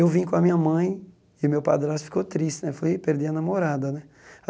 Eu vim com a minha mãe e meu padrasto ficou triste né, foi perder a namorada né.